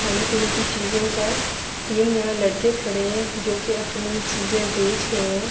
خانے پینے کی چیزو کا، تین یہاں لڑکے کھڈے ہے۔ جو کی اپنی چیزے بچ رہے ہے۔